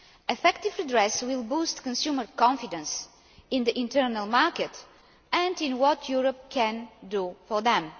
Effective redress will boost consumers' confidence in the internal market and in what Europe can do for them.